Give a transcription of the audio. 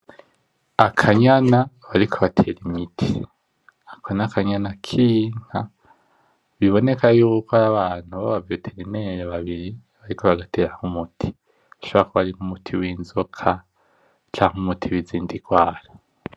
Akanyana bariko batera imiti, ako n'akanyana kinka biboneka yuko ari abantu baba veterinere babiri bariko bagatera nk'umuti, ashobora kuba ari nk'umuti winzoka canke umuti wizindi ngwara .